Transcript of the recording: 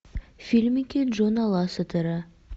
фильмики джона лассетера